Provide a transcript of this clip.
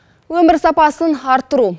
өмір сапасын арттыру